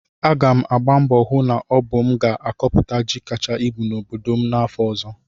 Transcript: Aga m agba mbọ hụ na ọ bụ m ga-akọpụta ji kacha ibu n'obodo m afọ ọzọ